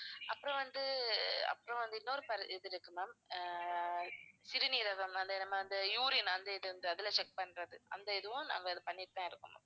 அப்புறம் வந்து அப்புறம் வந்து இன்னொரு பர்~ இது இருக்கு ma'am அஹ் சிறுநீரகம் அது நம்ம அந்த urine அந்த இது வந்து அதுல check பண்றது அந்த இதுவும் நாங்க இது பண்ணிட்டு தான் இருக்கோம் ma'am